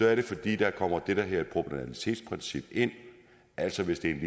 er det fordi der kommer det der hedder et proportionalitetsprincip ind altså hvis det